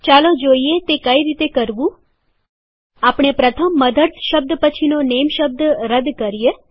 ચાલો જોઈએ તે કઈ રીતે કરવુંમોટે ભાગે આપણે પ્રથમ મધર્સ શબ્દ પછીનો નેમ શબ્દ રદ કરીએ